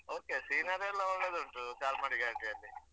Okay scenery ಎಲ್ಲಾ ಒಳ್ಳೆದುಂಟು ಚಾರ್ಮಡಿ ಘಾಟಿಯಲ್ಲಿ.